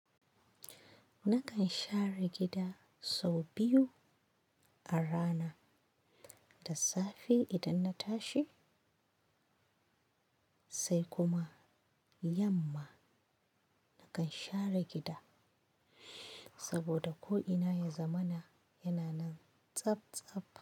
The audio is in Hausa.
Nakan share gida sau biyu a rana, da safe idan na tashi sai kuma yamma. Nakan share gida saboda ko ina ya zamana yana nan tsab tsab.